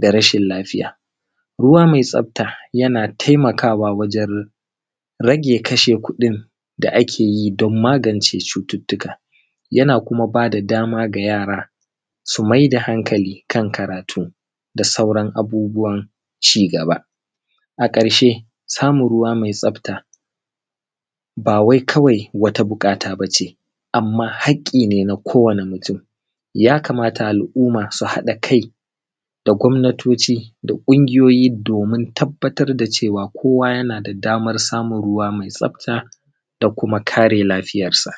da rashin lafiya ruwa mai tsafta yana taimakawa wajan rage kashe kuɗin da a ke yi don magance cututtuka yana kuma ba da dama ga yara su mai da hankali kan karatu da sauran abubuwan cigaba a ƙarshe samun ruwa mai tsafta ba wai kawai wata buƙata bace amma haƙƙi ne na kowani mutum yakamata al’umma su haɗa kai da gwamnatoci da ƙungiyoyi domin tabbatar da cewa kowa yana da damar samun ruwa mai tsafta da kuma kare lafiyar sa